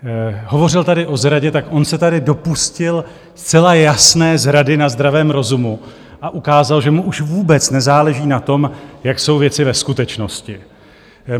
Hovořil tady o zradě - tak on se tady dopustil zcela jasné zrady na zdravém rozumu a ukázal, že mu už vůbec nezáleží na tom, jak jsou věci ve skutečnosti.